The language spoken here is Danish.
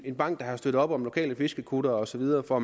en bank der har støttet op om lokale fiskerkuttere og så videre for